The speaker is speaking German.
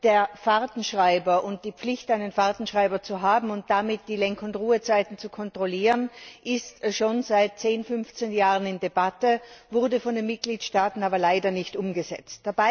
Der Fahrtenschreiber und die Pflicht, einen Fahrtenschreiber zu haben und damit die Lenk und Ruhezeiten zu kontrollieren, ist schon seit zehn bis fünfzehn Jahren in Debatte, wurde von den Mitgliedstaaten leider aber nicht umgesetzt.